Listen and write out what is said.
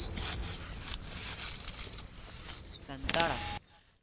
સંતારા